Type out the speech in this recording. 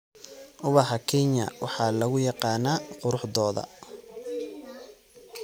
Ubaxa Kenya waxa lagu yaqaanaa quruxdooda.